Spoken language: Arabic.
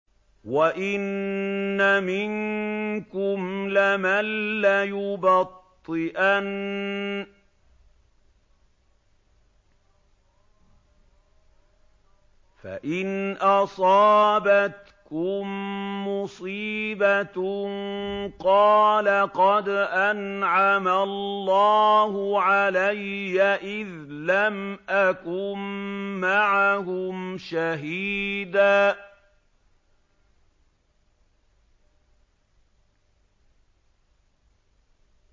وَإِنَّ مِنكُمْ لَمَن لَّيُبَطِّئَنَّ فَإِنْ أَصَابَتْكُم مُّصِيبَةٌ قَالَ قَدْ أَنْعَمَ اللَّهُ عَلَيَّ إِذْ لَمْ أَكُن مَّعَهُمْ شَهِيدًا